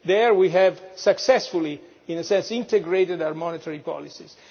There we have successfully, in a sense, integrated our monetary policies.